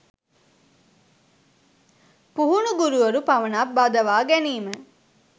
පුහුණු ගුරුවරු පමණක් බඳවා ගැනීම